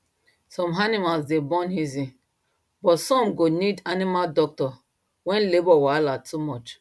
some animals dey born easy but some go need animal doctor when labour wahala too much